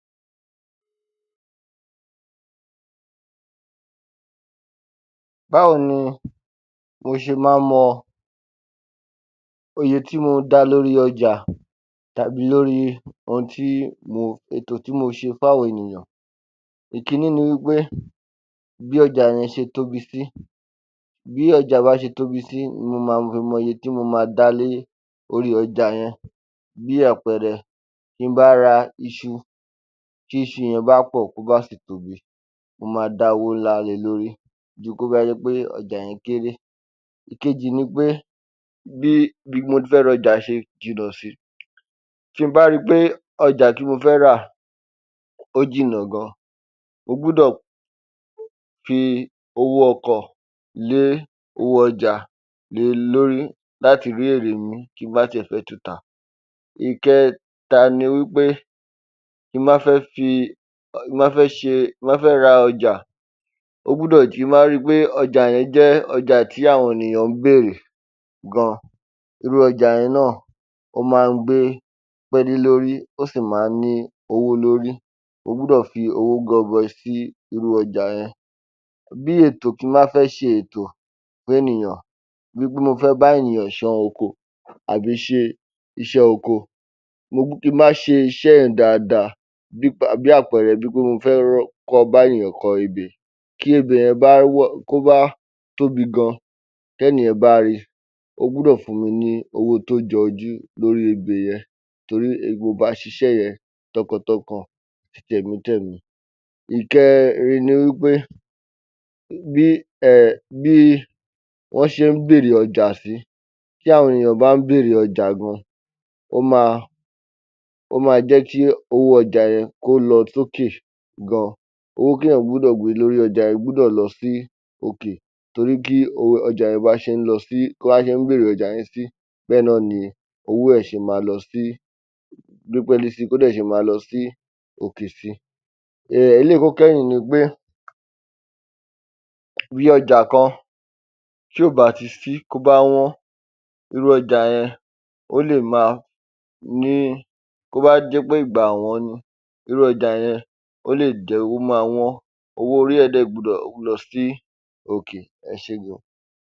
Báwo ni mo ṣe má ń mọ iye tí mò ń da lórí ọjà tàbí lórí ètò tí mo ṣe fún àwọn ènìyàn. Ìkíní ni wí pé bí ọjà yẹn ṣe tóbi. Bí ọjà yẹn ṣe tóbi sí ni mo ma fi mọ iye tí mo ma dálé ori ọjà yẹn. Bí àpẹẹrẹ bí n bá ra iṣu tí iṣu yẹn bá pọ̀, tí ó bá sì tóbi, mo ma dá owó ńlá le lórí ju tí ó bá jẹ́ pé ọjà yẹn kéré. Ìkejì ni pé bí ibití mo ti fẹ́ ra ọjà ṣe jìnà sí, tí n bá rí pé ọjà tí mo fẹ́ rà ó jìnà gan, mo gbọ́dọ̀ fi owó ọkọ̀ lé owó ọjà le lórí láti rí èrè mí tí mo bá ti ẹ̀ fẹ́ tun tà. Ìkẹtà ni wí pé tí mo bá fẹ́ ṣe, ra ọjà tí mo bá ri pé ọjà yẹn je ọjà tí àwọn ènìyàn ń bèèrè gan, irú ọjà yẹn náà ó ma ń gbé pẹ́ẹ́lí lórí ó sì ma ń ní owó lórí, mo gbọ́dọ̀ fi owó gọbọi sí irú ọjà. Bí ètò, tí mo bá fẹ́ ṣe ètò fún ènìyàn, bíi wí pé mo fé bá ènìyàn ṣán oko àbí ṣe iṣẹ́ oko tí mo bá ṣe iṣẹ́ yẹn dáadáa, bí àpẹẹrẹ bíi wí pé mo fé bá ènìyàn kọ ebè, tí ebè yẹn bá, tí ó bá tóbi gan tí ènìyàn bá ri ó gbọ́dọ̀ fún mi ní owó tó jọjú lórí ebè yẹn torí mo bá a ṣe iṣẹ́ yẹn tọkàn tọkàn tẹ̀mí tẹ̀mí. Ìkẹ́rin ni wí pé bí wọ́n ṣe ń bèèrè ọjà sí. Tí àwọn ènìyàn bá ń bèèrè ọjà gan, ó ma jẹ́ kí owó ọjà yẹn kí ó lọ sókè gan, owó tí ènìyàn gbọ́dọ̀ gbé lórí ọjà yẹn gbọ́dọ̀ lọ sí òkè torí bí wọ́n bá ṣe ń bèèrè ọjà yẹn sí bẹ́ẹ̀ náà ni owó ẹ̀ ṣe ma gbé pẹ́ẹ́lí si tí ó dẹ̀ ṣe ma lọ sí òkè si. Eléyìí tí ó kẹ́yìn ni pé bí ọjà kan tí ò bá ti sí, tí ó bá wọ́n, irú ọjà yẹn ó lè ma ní, tí ó bá jẹ́ pé ìgbà ọ̀wọ́n ni, irú ọjà yẹn ó lè jẹ́ ó ma wọ́n, owó orí ẹ̀ dẹ̀ gbọ́dọ̀ lọ sí òkè, ẹ ṣé gan.